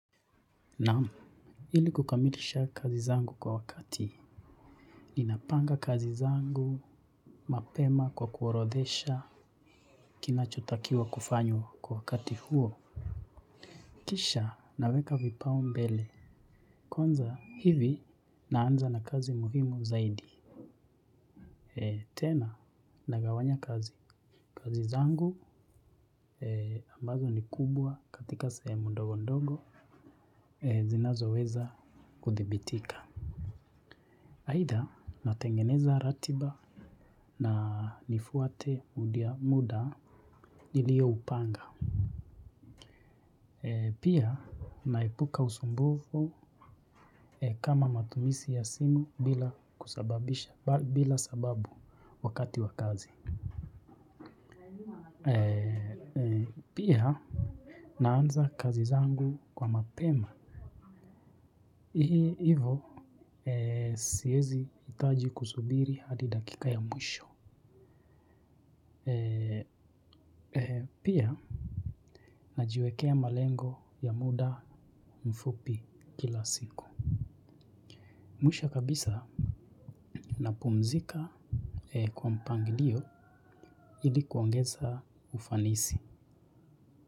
Naam, ili kukamilisha kazi zangu kwa wakati ninapanga kazi zangu mapema kwa kuorothesha. Kinachotakiwa kufanywa kwa wakati huo. Kisha naweka vipaumbele kwanza hivi naanza na kazi muhimu zaidi. Tena nagawanya kazi. Kazi zangu ambazo ni kubwa katika sehemu ndogo ndogo zinazoweza kuthibitika. Aidha, natengeneza ratiba. Na nifuate muda nilioupanga. Pia naepuka usumbufu kama matumizi ya simu bila sababu wakati wa kazi. Pia naanza kazi zangu kwa mapema. Hii hivo siwezi hitaji kusubiri hadi dakika ya mwisho. Pia najiwekea malengo ya muda mfupi kila siku. Mwisho kabisa napumzika kwa mpangilio ili kuongeza ufanisi.